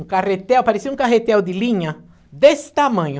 Um carretel, parecia um carretel de linha desse tamanho.